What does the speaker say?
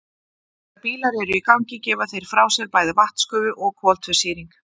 þegar bílar eru í gangi gefa þeir frá sér bæði vatnsgufu og koltvísýring